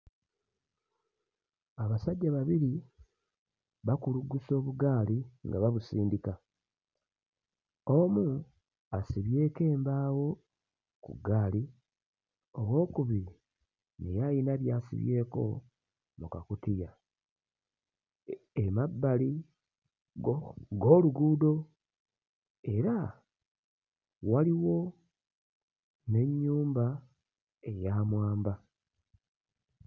Abasajja babiri bakuluggusa obugaali nga babusindika, omu asibyeko embaawo ku ggaali, owookubiri naye ayina by'asibyeko mu kakutiya, emabbali go g'oluguudo era waliwo n'ennyumba eya mwamba.